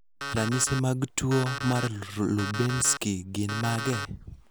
Ranyisi mag tuwo mar Lubinsky gin mage?